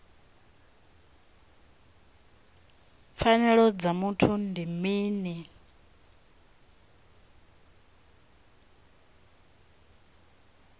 pfanelo dza muthu ndi mini